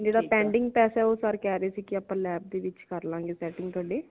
ਜੇੜਾ pending ਪੈਸਾ ਉਹ sir ਕਹਿ ਰਹੇ ਸੀਗੇ ਆਪਾ lab ਦੇ ਵਿਚ ਕਰਲਾਵਾਂਗੇ setting ਥੋੜੇ